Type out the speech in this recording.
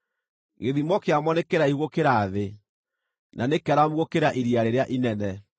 Gĩthimo kĩamo nĩ kĩraihu gũkĩra thĩ na nĩ kĩaramu gũkĩra iria rĩrĩa inene.